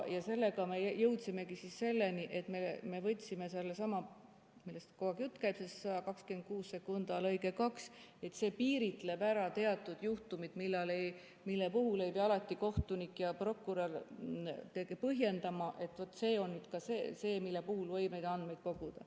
Sellega me jõudsimegi selleni, et me võtsime sellesama paragrahvi, millest kogu aeg jutt käib –§ 1262 lõige 2 –, mis piiritleb ära teatud juhtumid, mille puhul ei pea alati kohtunik ja prokurör põhjendama, et vaat see on see, mille puhul võib neid andmeid koguda.